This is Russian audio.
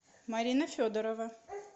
марина федорова